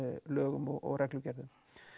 lögum og reglugerðum